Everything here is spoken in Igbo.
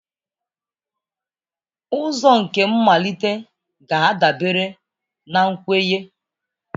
Ụzọ nke mmalite ga-adabere na nkwenye.